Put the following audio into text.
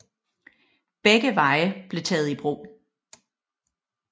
Begge veje blev taget i brug